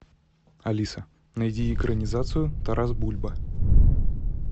алиса найди экранизацию тарас бульба